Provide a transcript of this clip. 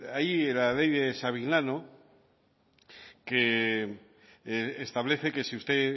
ahí en la ley de savignano que establece que si usted